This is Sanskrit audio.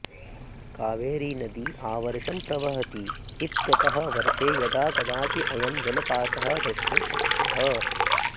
कावेरीनदी आवर्षं प्रवहति इत्यतः वर्षे यदा कदापि अयं जलपातः द्रष्टुं शक्यः